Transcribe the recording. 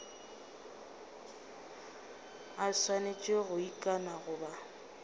a swanetše go ikana goba